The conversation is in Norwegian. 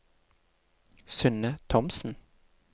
Synne Thomsen